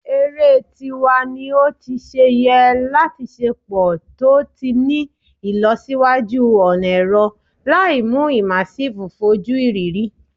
Ere ti wa ni o ti ṣe yẹ lati ṣepọ to ti ni ilọsiwaju ọna ẹrọ, laimu immersive foju iriri